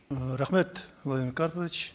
ы рахмет владимир карпович